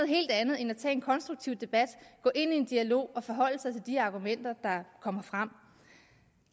helt andet end at tage en konstruktiv debat at gå ind i en dialog og forholde sig til de argumenter der kommer frem